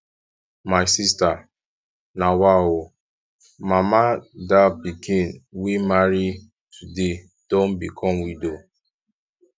my sister nawa ooo mama dal pikin wey marry today don become widow